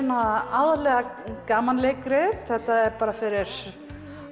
aðallega gamanleikrit þetta er bara fyrir